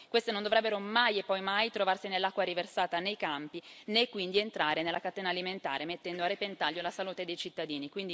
Queste non dovrebbero mai e poi mai trovarsi nell'acqua riversata nei campi, né quindi entrare nella catena alimentare mettendo a repentaglio la salute dei cittadini.